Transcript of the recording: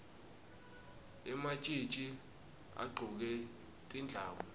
ematjitji agcoke tindlamu